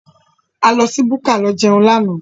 A lọ sí búkà lọ jẹun lánàá.